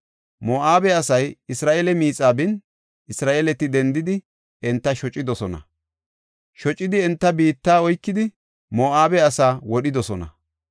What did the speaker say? Moo7abe asay Isra7eela miixaa bin, Isra7eeleti dendidi, enta shocidosona. Shocidi enta biitta oykidi, Moo7abe asaa wodhidosona.